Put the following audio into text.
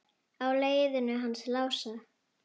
Á leiðinu hans Lása?